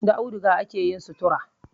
Da auduga akeyin sutura